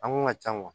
An kun ka ca